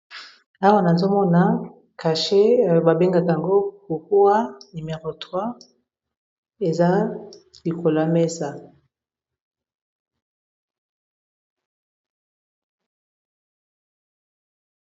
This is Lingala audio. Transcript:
Na mesa oyo, tozali komona kisi oyo batiyaka na cachet bato ya misala basalelaka oto bato ya ba sosiyete.